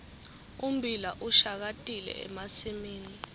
ummbila ushakatile emasimini